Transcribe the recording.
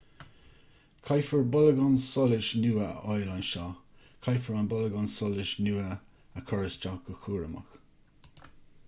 caithfear bolgán solais nua a fháil ansin caithfear an bolgán solais nua a chur isteach go cúramach